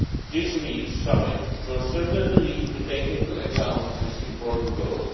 market. This week's summit will certainly need to take into account this important